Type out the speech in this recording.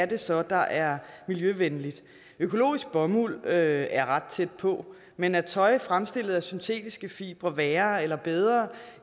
det så er der er miljøvenligt økologisk bomuld er er ret tæt på men er tøj fremstillet af syntetiske fibre værre eller bedre